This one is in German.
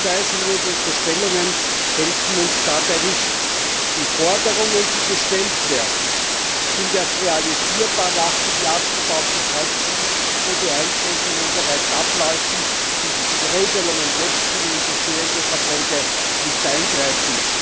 Schuldzuweisungen und Unterstellungen helfen uns dabei nicht. Die Forderungen, die gestellt werden, sind erst realisierbar nach dem Jahr 2013, wo die Einschränkungen bereits ablaufen, und die jetzigen Regelungen können in bestehende Verträge nicht eingreifen.